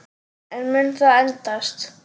En mun það endast?